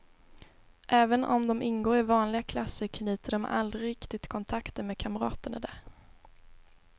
Även om de ingår i vanliga klasser knyter de aldrig riktigt kontakter med kamraterna där.